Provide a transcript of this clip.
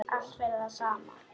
Allt fyrir það sama.